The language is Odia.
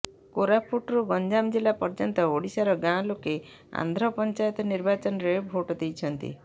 କୋରାପୁଟରୁ ଗଞ୍ଜାମ ଜିଲ୍ଲା ପର୍ଯ୍ୟନ୍ତ ଓଡିଶାର ଗାଁ ଲୋକେ ଆନ୍ଧ୍ର ପଞ୍ଚାୟତ ନିର୍ବାଚନରେ ଭୋଟ୍ ଦେଇଛନ୍ତି